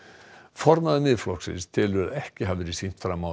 formaður Miðflokksins telur að ekki hafi verið sýnt fram á